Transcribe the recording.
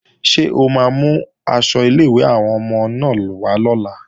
Ṣé o máa mú aṣọ ilé-ìwé àwọn ọmọ náà wá lọ́la?